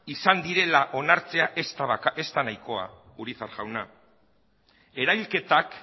izan direla onartzea ez da nahikoa urizar jauna eraiketak